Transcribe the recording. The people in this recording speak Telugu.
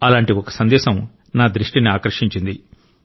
అలాంటి ఒక సందేశం నా దృష్టిని ఆకర్షించింది